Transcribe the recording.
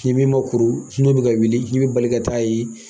Ni min ma kuru n'o bi ka wili, k'i bi bali ka taa ye